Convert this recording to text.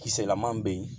Kisɛlama bɛ yen